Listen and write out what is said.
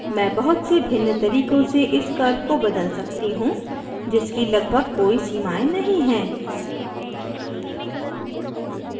मैं बहुत से भिन्न तरीकों से इस curve को बदल सकती हूँ जिसकी लगभग कोई सीमायें नहीं हैं